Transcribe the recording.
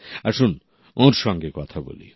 আসুন ওঁর সঙ্গে কথা বলি